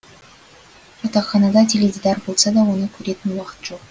жатақханада теледидар болса да оны көретін уақыт жоқ